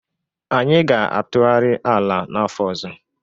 Anyị ga-atụgharị ala n'afọ ọzọ.